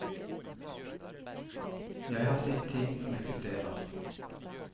Jeg har sett ting som eksisterer.